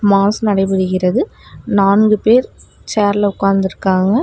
Mass நடைபெறுகிறது நான்கு பேர் சேர்ல உக்காந்துருக்காங்க.